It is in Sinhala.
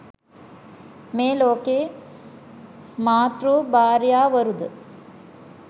මේ ලෝකයේ මාතෘ භාර්යාවරු ද